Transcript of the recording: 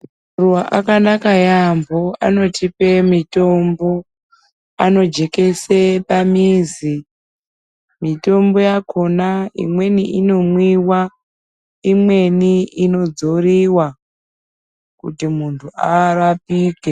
..va akanaka yaambo anotipe mitombo anojekese pamizi. Mitombo yakona imweni inomwiwa, imweni inodzoriwa kuti muntu arapike.